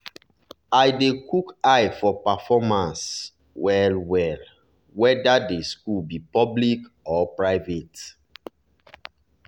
i dey chook eye for performance well-well whether the school be public or private.